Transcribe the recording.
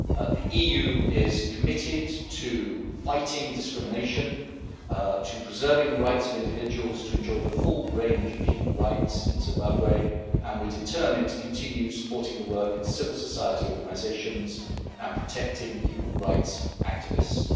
The EU is committed to fighting discrimination, to preserving the rights of individuals to enjoy the full range of human rights in Zimbabwe, and we are determined to continue supporting the work of civil society organisations and protecting human rights activists.